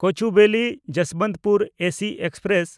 Kochuveli Jasbantpur AC express